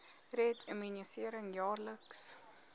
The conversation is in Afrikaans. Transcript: red immunisering jaarliks